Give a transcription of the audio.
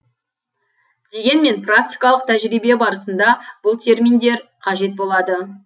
дегенмен практикалық тәжірибе барысында бұл терминдер қажет болады